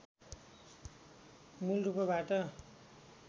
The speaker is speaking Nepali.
मूल रूपबाट